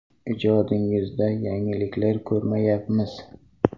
Ijodingizda yangiliklar ko‘rmayapmiz.